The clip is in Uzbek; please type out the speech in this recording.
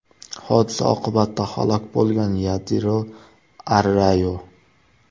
Hodisa oqibatida halok bo‘lgan Yadiro Arrayo.